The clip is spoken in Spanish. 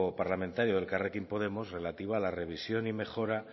parlamentario elkarrekin podemos relativa a la revisión y mejora